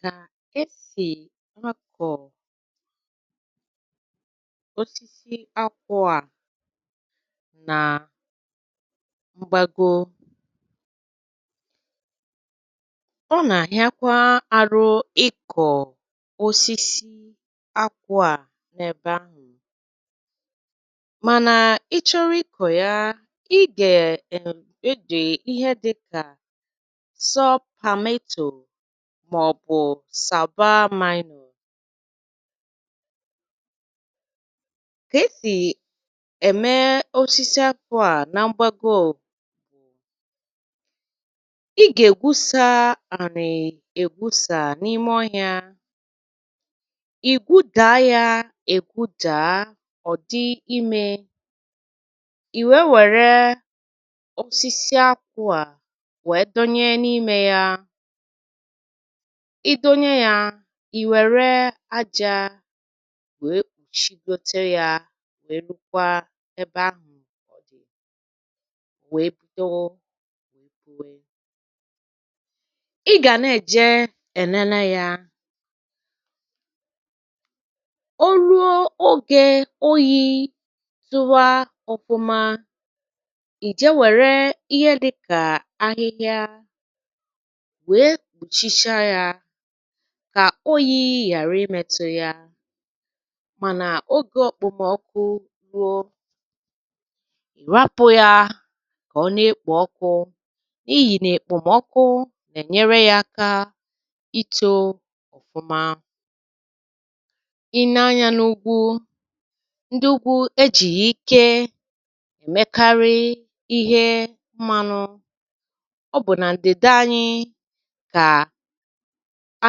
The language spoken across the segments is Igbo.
Ka e si akọ osisi akwụ́ a na mgbago. Ọ na-aghịakwa ahụ ịkọ osisi akwụ́ a n'ebe ahụ. Mana ị chọrị ịkọ ya, ị ga erm eji ihe dị ka subpameto maọbụ sabamino. Ka esi eme osisi akwụ́ a na mgbago bụ ị ga-egwusa anị egwusa n'ime ọhịa. Ị geụdaa ya egwudaa ọ dị ime. I wee were osisi akwụ́ a wee dọ́nyé n'ime ya. Ị dọ́nyé ya, i were ájá wee kpuchigide ya wee bido wee puwé. Ị ga na-eje enene ya. O ruo oge oyi tụ́wá ọfụma, i jee were ihe dị ka ahịhịa wee kpuchichaa ya ka oyi ghara ịmetụ ya. Mana oge okpomọkụ ruo, ị rapụ ya ka ọ na-ekpo ọkụ n'ihi na ekpomọkụ na-enyere ya aka ito ọfụma. Ị nee anya n'úgwú, ị ga-ahụ na ndị úgwú e jighi ike emekarị ihe mmanụ. Ọ bụ na ndịda anyị ka a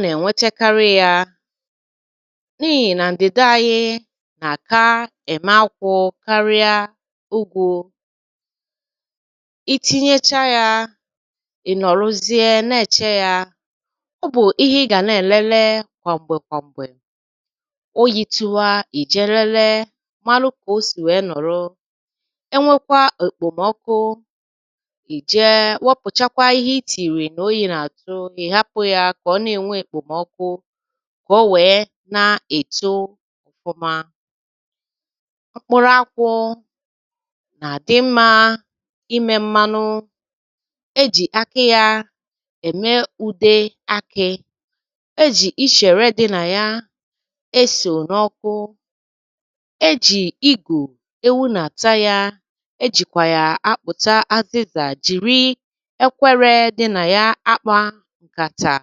na-enwetekarị ya n'ihi na ndịda anyị na-aka eme akwụ́ karịa úgwu. Ị tinyechaa ya, ị nọrụzie na-eche ya. Ọ bụ ihe ị ga na-elele kwa mgbe kwa mgbe. Oyi tụwa, i jee lelee marụ kao si wee nọ̀rụ́. E nwekwaa ekpomọkụ, i jee wepụcha ihe itiiri mgbe oyi na-atụ, ị hapụ ya ka ọ na-enwe ekpomọkụ, ka o wee na-eto ọfụma.. Mkpụrụ akwụ́ na-adị mma ime mmanụ. E ji ákị́ ya eme ùdé akị. E ji íchèrè dị na ya esonye ọkụ. E ji ígù ewu na-ata ya. E jikwa ya akpụcha azịza jiri ékwérê dị na ya akpa nkàtà.